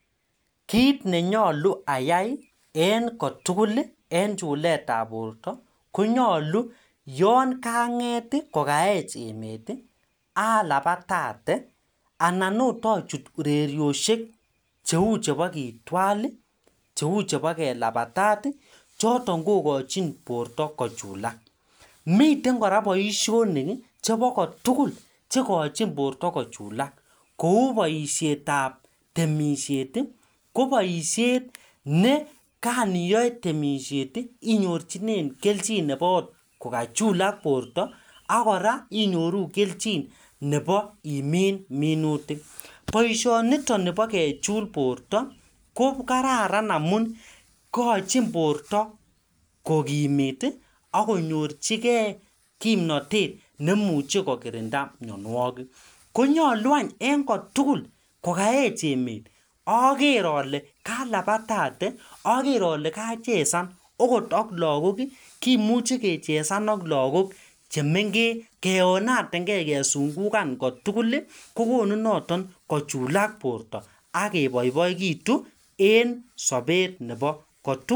Kit nenyolu ayai en kotugul en chuletab borto konyolu yon kanget ii kokaech emet ii alabatate anan ot ochut urerioshek cheu chebo kitwal ii, cheu chebo kelabatat ii choton kokochin borto kochulak miten koraa boisionik chebo kotugul chekochin, kou boisietab temishet ii ko boishet nekan iyoe temishet ii inyorjinen kelchin nebo ot kokachulal borto, ak koraa inyoru kelchin nebo imin minutik boisioniton nibo kechul borto ko kararan amun igojin borto kokimit ii ak konyorjigee kimnotet nemuche kokirinda mionuokik, konyolu any en kotugul kokaech emet oker ole kalabatate oker ole kachezan okot ok lagok ii kimuche kechezan ak lagok chemengech keonaten ngee kesungukan kotugul ii kokonu noton kochulak borto ak keboiboekitu en sobet nebo kotugul.